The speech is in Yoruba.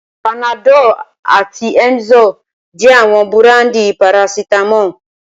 Panadol àti Emzor jẹ́ àwọn búráńdì parasítámọ̀.